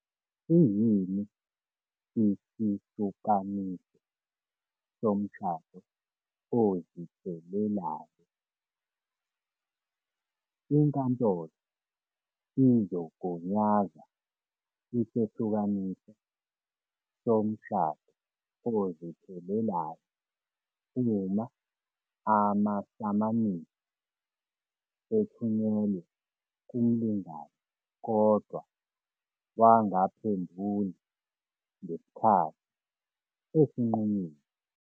Siyini isahlukaniso somshado oziphelelayo? Inkantolo izogunyaza isahlukaniso somshado oziphelelayo uma amasamanisi ethunyelwe kumlingani kodwa wangaphenduli ngesikhathi esinqunyiwe.